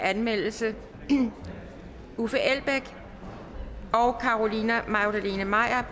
anmeldelse uffe elbæk og carolina magdalene maier